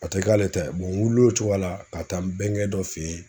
A te k'ale ta ye. n wiil'o cogoya la ka taa n bɛnkɛ dɔ fe ye